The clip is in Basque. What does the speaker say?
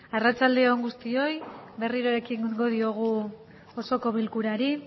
arratsalde on guztioi berriro ekingo diogu osoko bilkurari